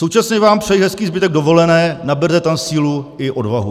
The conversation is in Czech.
Současně vám přeji hezký zbytek dovolené, naberte tam sílu i odvahu.